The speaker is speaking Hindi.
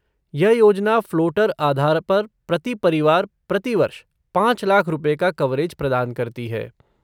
यह योजना फ़्लोटर आधार पर प्रति परिवार प्रति वर्ष पाँच लाख रुपये का कवरेज प्रदान करती है।